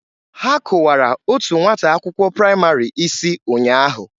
Ha kụwara otu nwata akwụkwọ praịmarị isi ụnyaahụ.